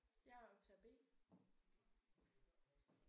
Jeg er optager B